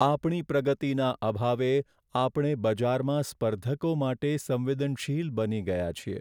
આપણી પ્રગતિના અભાવે આપણે બજારમાં સ્પર્ધકો માટે સંવેદનશીલ બની ગયા છીએ.